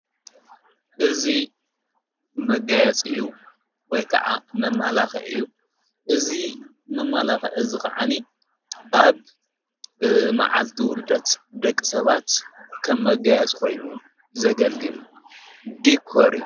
እዙይ መጋያጽ እዩ ወይ ከዓ መማላኽ እዩ እዙይ መማላኽ እዝ ኽዓኒ ኣብ መዓልቲ ውልደት ደቂ ሰባት ከም መጋያጽ ኾይኑ ዘገልግል ዲኮር::